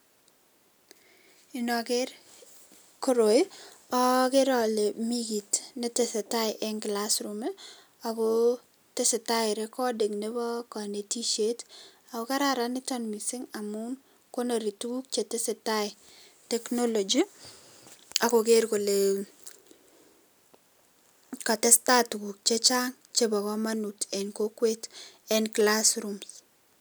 Inoker koroi Ii akere alee mikiit netesetai enn classroom ii akoo tesetai recording nebo konetisiet, ako kararan niton mising amun konori tuguk chetesetai technology akoker kolekatestaituguk chechang chebo komonut enn kokwet enn classrooms.